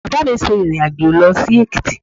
Bàbá mi ṣe ìrìn-àjò lọ sí Èkìtì